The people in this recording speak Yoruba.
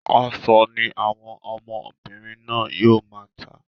Aṣọ ní àwọn ọmọbìnrin náà yóò máa tà.